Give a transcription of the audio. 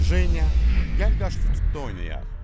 Jeniya, gəl qaşdu-tutdu oynayaq.